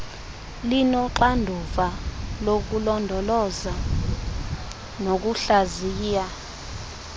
linoxanduva lokulondoloza nokuhlaziya